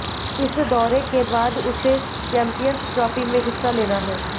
इस दौरे के बाद उसे चैम्पियंस ट्रोफी में हिस्सा लेना है